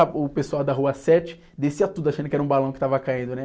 O pessoal da Rua Sete descia tudo achando que era um balão que estava caindo, né?